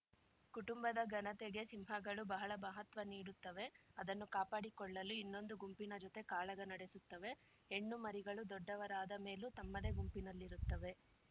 ಕುಟುಂಬದ ಘನತೆಗೆ ಸಿಂಹಗಳು ಬಹಳ ಬಹತ್ವ ನೀಡುತ್ತವೆ ಅದನ್ನು ಕಾಪಾಡಿಕೊಳ್ಳಲು ಇನ್ನೊಂದು ಗುಂಪಿನ ಜೊತೆ ಕಾಳಗ ನಡೆಸುತ್ತವೆ ಹೆಣ್ಣು ಮರಿಗಳು ದೊಡ್ಡವರಾದ ಮೇಲೂ ತಮ್ಮದೇ ಗುಂಪಿನಲ್ಲಿರುತ್ತವೆ